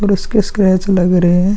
और इसके स्क्रैच लग रहे हैं।